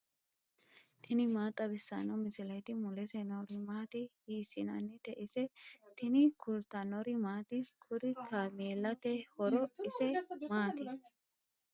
tini maa xawissanno misileeti ? mulese noori maati ? hiissinannite ise ? tini kultannori maati? Kuri kaammelati horo ise maatti?